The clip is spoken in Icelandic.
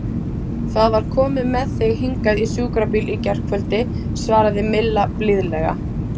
Það var komið með þig hingað í sjúkrabíl í gærkvöldi svaraði Milla blíðlega.